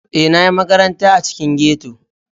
E, na ƴi maƙaranta a ciƙin ghetto.